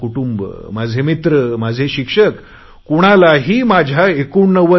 माझे कुटुंब माझे मित्र माझे शिक्षक कुणालाही माझ्या 89